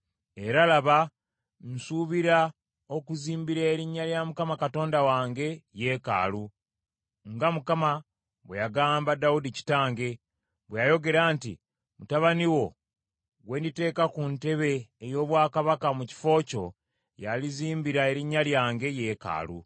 Era, laba, nsuubira okuzimbira Erinnya lya Mukama Katonda wange yeekaalu, nga Mukama bwe yagamba Dawudi kitange, bwe yayogera nti, ‘Mutabani wo gwe nditeeka ku ntebe ey’obwakabaka mu kifo kyo, yalizimbira Erinnya lyange yeekaalu.’